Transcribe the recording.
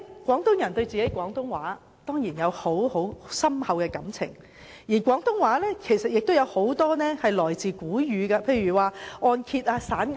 廣東人對廣東話當然有深厚感情，而且大部分廣東話表達法也是來自古語，例如按揭及散銀等。